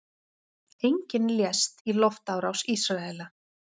Enginn lést í loftárás Ísraela